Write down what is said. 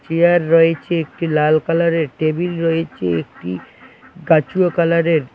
Chair রয়েছে একটি লাল কালারের টেবিল রয়েছে একটি গাছুয়া কালারের।